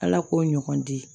Ala k'o ɲɔgɔn di